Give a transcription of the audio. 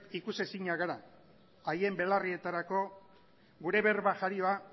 ikusezinak gara haien belarrietarako gure berba jarioa